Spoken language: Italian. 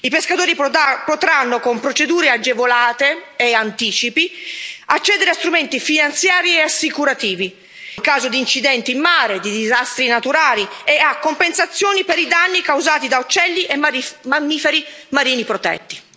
I pescatori potranno, con procedure agevolate e anticipi, accedere a strumenti finanziari e assicurativi, in caso di incidenti in mare e di disastri naturali, e a compensazione per i danni causati da uccelli e mammiferi marini protetti.